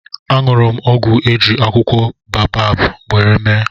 añụrụ m ọgwụ a eji akwụkwọ boabab nwere mee